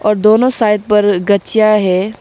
और दोनों साइड पर गच्छिया है।